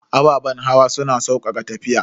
Ababen hawa suna saukaka tafiya.